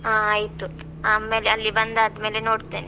ಹಾ ಆಯ್ತು, ಆಮೇಲೆ ಅಲ್ಲಿ ಬಂದಾದ್ಮೇಲೆ ನೋಡ್ತೇನೆ.